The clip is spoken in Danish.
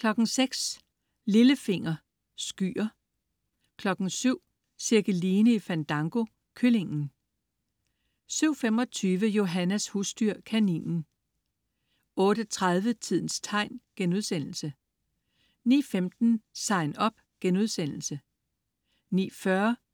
06.00 Lillefinger. Skyer 07.00 Cirkeline i Fandango. Kyllingen 07.25 Johannas husdyr. Kaninen 08.30 Tidens tegn* 09.15 Sign Up* 09.40